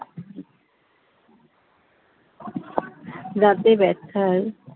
দাঁতে ব্যথার